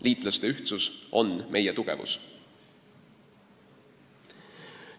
Liitlaste ühtsus on meie tugevus.